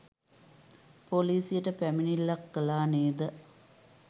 පොලිසියට පැමිණිල්ලක් කළා නේද?